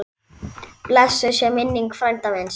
Blessuð sé minning frænda míns.